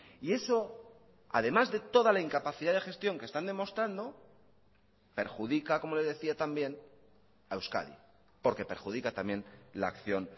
y eso además de toda la incapacidad de gestión que están demostrando perjudica como le decía también a euskadi porque perjudica también la acción